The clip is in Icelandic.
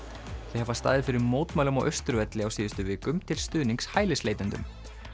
þau hafa staðið fyrir mótmælum á Austurvelli á síðustu vikum til stuðnings hælisleitendum